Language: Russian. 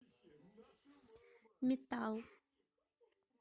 метал